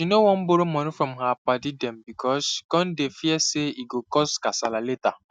she no wan borrow money from her padi dem because she cum dey fear say e go cause kasala later